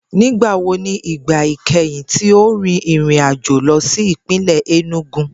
Nigbawo ni igba ikẹhin ti o rin irin ajo lọ si ipinlẹ Enugu?